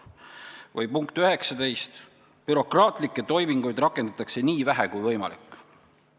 Või punkt 19: bürokraatlikke toiminguid rakendatakse nii vähe kui võimalik.